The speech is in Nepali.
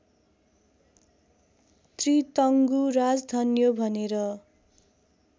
त्रितङ्गु राजधन्यो भनेर